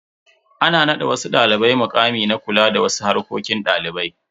Ana nada wasu dalibai mukami na kula da wasu harkokin dalibai.